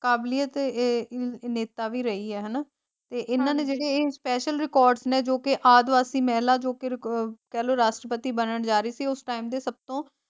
ਕਾਬਿਲਿਯਤ ਇਹ ਹਮ ਨੇਤਾ ਵੀ ਰਹੀ ਹੈ ਹੈਨਾ ਤੇ ਏਨਾ ਨੇ ਜੇੜੇ ਇਹ ਸਪੈਸ਼ਲ ਰਿਕਾਰਡਸ ਨੇ ਜੋ ਕੇ ਆਦਿਵਾਸੀ ਮਹਿਲਾ ਜੋ ਕਿ ਰਿਕ ਆਹ ਕਹਿਲੋ ਰਾਸ਼ਟਰਪਤੀ ਬਨਣ ਜਾਰੀ ਸੀ ਉਸ ਦੇ ਸਬਤੋ।